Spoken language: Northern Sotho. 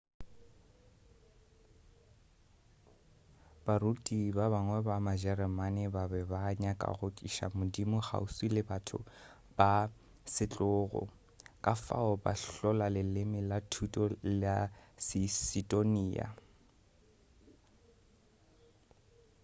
baruti ba bangwe ba majereman ba be ba nyaka go tliša modimo kgauswi le batho ba setlogo ka fao ba hlola leleme la thuto la seistoniya